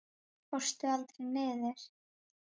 Fórstu aldrei niður?